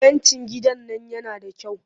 Fentin gidan nan yana da kyau